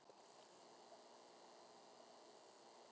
Af hverju er ekki uppselt?